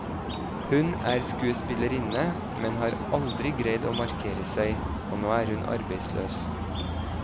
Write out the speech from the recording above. Hun er skuespillerinne, men har aldri greid å markere seg, og nå er hun arbeidsløs.